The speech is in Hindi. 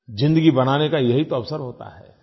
ज़िंदगी बनाने का यही तो अवसर होता है